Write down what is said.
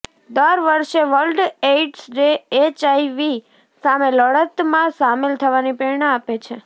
દર વર્ષે World AIDS Day HIV સામે લડતમાં સામેલ થવાની પ્રેરણા આપે છે